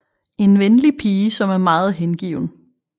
En venlig pige som er meget hengiven